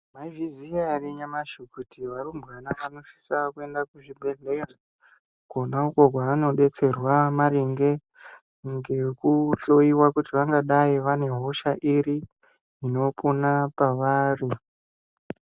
Mwaizviziya ere nyamashi kuti varumbwana vanosisa kuenda kuzvibhedhleya kwona ukwo kwaanodetserwa maringe ngekuhloiwa kuti vangadai vane hosha iri inopona pavari.